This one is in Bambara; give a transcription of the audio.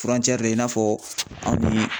de i n'a fɔ anw ni